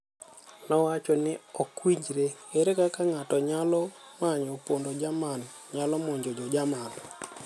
Nowacho ni ok winjre, ere kaka ng'ato nyalo manyo pondo Jerman nyalo monjo jo Jerman.